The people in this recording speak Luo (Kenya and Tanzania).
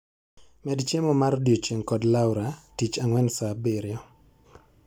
Med chiemo mar odiechieng' kod Laura tich ang'wen saa abirio